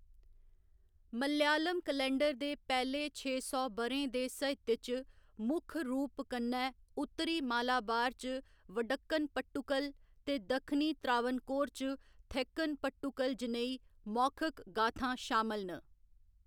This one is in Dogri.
मलयालम कैलेंडर दे पैह्‌‌‌ले छे सौ ब'रें दे साहित्य च मुक्ख रूप कन्नै उत्तरी मालाबार च वडक्कन पट्टुकल ते दक्षिणी त्रावणकोर च थेक्कन पट्टुकल जनेही मौखिक गाथां शामल न।